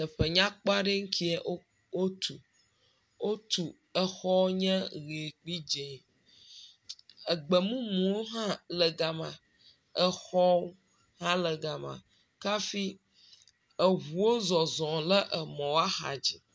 Teƒe nyakpɔ aɖe ŋkeɛ wotu. Wotu exɔ nye ʋi kple dzẽ. Egbemumuwo hã le gama. Exɔ hã le gama kafi eŋuwo zɔzɔm le emɔ ahadzi.